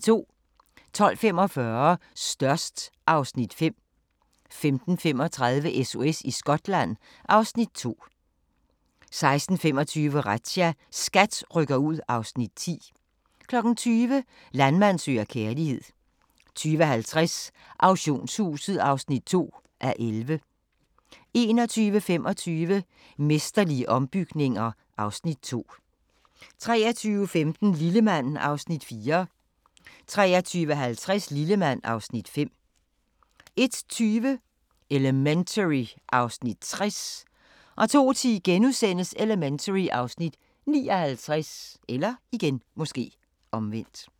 12:45: Størst (Afs. 5) 15:35: SOS i Skotland (Afs. 2) 16:25: Razzia – SKAT rykker ud (Afs. 10) 20:00: Landmand søger kærlighed 20:50: Auktionshuset (2:11) 21:25: Mesterlige ombygninger (Afs. 2) 23:15: Lillemand (Afs. 4) 23:50: Lillemand (Afs. 5) 01:20: Elementary (Afs. 60) 02:10: Elementary (Afs. 59)*